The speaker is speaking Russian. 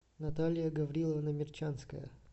наталья гавриловна мерчанская